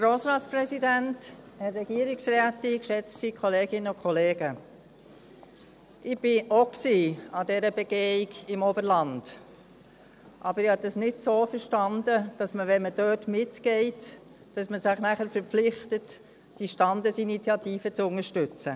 Ich war auch an dieser Begehung im Oberland, aber ich habe es nicht so verstanden, dass man, wenn man dort mitgeht, sich dann dazu verpflichtet, die Standesinitiative zu unterstützen.